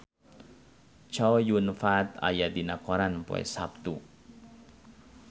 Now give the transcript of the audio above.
Chow Yun Fat aya dina koran poe Saptu